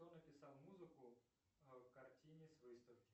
кто написал музыку к картине с выставки